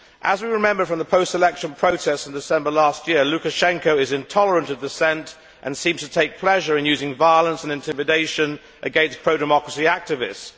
As we remember from the post election protests in December last year, Lukashenko is intolerant of dissent and seems to take pleasure in using violence and intimidation against pro democracy activists.